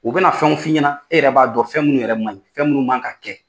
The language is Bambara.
U bɛna fɛnw fi ɲɛna e yɛrɛ b'a dɔn fɛn munnu yɛrɛ man ɲi, fɛn munnu man ka kɛ?]